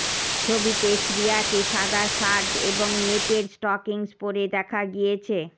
ছবিতে শ্রিয়াকে সাদা শার্ট এবং নেটের স্টকিংস পরে দেখা গিয়েছে